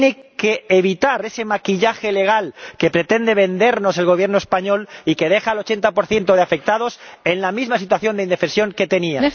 Tiene que evitar ese maquillaje legal que pretende vendernos el Gobierno español y que deja al 80 de los afectados en la misma situación de indefensión que tenían.